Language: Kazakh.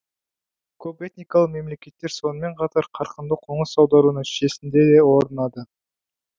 көпэтникалы мемлекеттер сонымен қатар қарқынды қоңыс аудару нәтижесінде де орнады